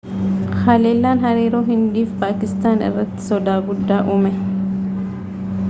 halellaan hariiroo hindii fi paakistaan irratti soda guddaa uume